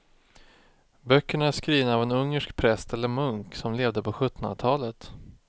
Böckerna är skrivna av en ungersk präst eller munk som levde på sjuttonhundratalet.